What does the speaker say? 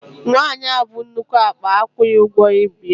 Nwaanyi ahụ bu nnukwu akpa akwụghi ụgwọ ibu ya.